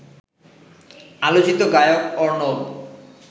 আলোচিত গায়ক অর্ণব